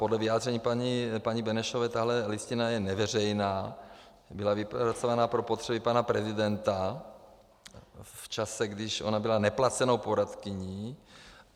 Podle vyjádření paní Benešové tahle listina je neveřejná, byla vypracována pro potřeby pana prezidenta v čase, kdy ona byla neplacenou poradkyní.